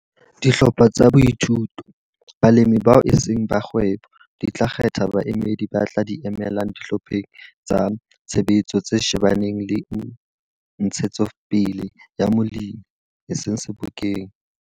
a, Dihlopha tsa boithuto, balemi bao e seng ba kgwebo, di tla kgetha baemedi ba tla di emela Dihlopheng tsa Tshebetso tse shebaneng le Ntshetsopele ya Molemi, eseng Sebokeng.